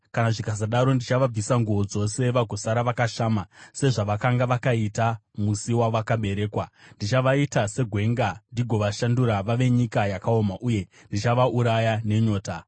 Kana zvikasadaro, ndichavabvisa nguo dzose vagosara vakashama sezvavakanga vakaita musi wavakaberekwa. Ndichavaita segwenga ndigovashandura vave nyika yakaoma uye ndichavauraya nenyota.